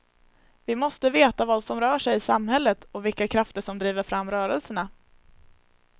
Vi måste veta vad som rör sig i samhället och vilka krafter som driver fram rörelserna.